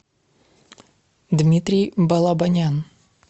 дмитрий балабанян